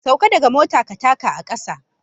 Sauka daga mota ka taka a kasa